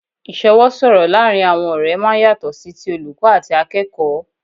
Ìsọwọ́ sọ̀rọ̀ laarin awọn ọ̀rẹ́ máa ń yàtọ̀ sí ti olùkọ́ àti akẹ́kọ̀ọ́